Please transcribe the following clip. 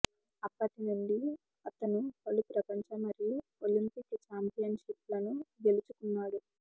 అప్పటి నుండి అతను పలు ప్రపంచ మరియు ఒలింపిక్ చాంపియన్షిప్లను గెలుచుకున్నాడు